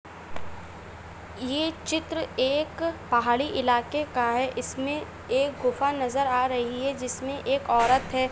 ये चित्र एक पहाड़ी इलाके का है इसमें एक गुफा नज़र आ रही है जिसमे एक औरत है।